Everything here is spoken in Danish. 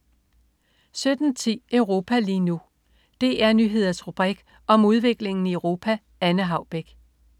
17.10 Europa lige nu. DR Nyheders rubrik om udviklingen i Europa. Anne Haubek